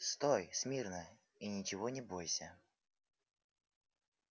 стой смирно и ничего не бойся